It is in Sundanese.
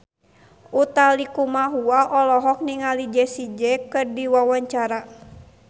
Utha Likumahua olohok ningali Jessie J keur diwawancara